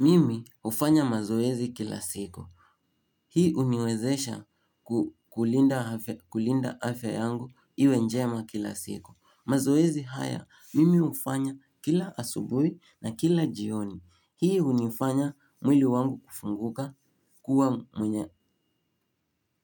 Mimi hufanya mazoezi kila siku. Hii huniwezesha kulinda afya yangu iwe njema kila siku. Mazoezi haya, mimi hufanya kila asubuhi na kila jioni. Hii hunifanya mwili wangu kufunguka kuwa mwenye